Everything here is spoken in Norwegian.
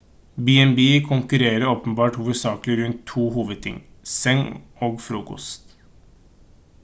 b&b konkurrerer åpenbart hovedsakelig rundt to hovedting seng og frokost